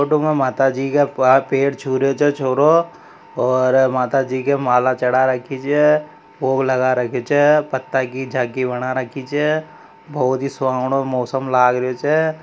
फोटो में माताजी के पैर छू रहियो छ छोरो और माताजी के माला चढ़ा रखी छ भोग लगा रखी छ पत्ता की झांकी बना रखी छ बहुत ही सुवानो मौसम लग रहियो छ।